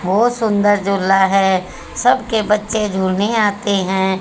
बहोत सुंदर झूला है। सबके बच्चे झूलने आते हैं।